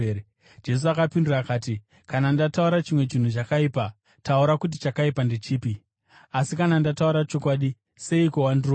Jesu akapindura akati, “Kana ndataura chimwe chinhu chakaipa, taura kuti chakaipa ndechipi. Asi kana ndataura chokwadi, seiko wandirova?”